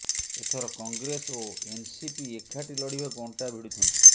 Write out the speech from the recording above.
ଏଥର କଂଗ୍ରେସ ଓ ଏନ୍ସିପି ଏକାଠି ଲଢ଼ିବାକୁ ଅଣ୍ଟା ଭିଡ଼ୁଛନ୍ତି